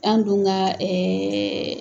An dun ka